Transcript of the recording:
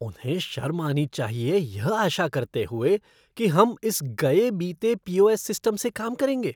उन्हें शर्म आनी चाहिए यह आशा करते हुए कि हम इस गए बीते पी ओ एस सिस्टम से काम करेंगे।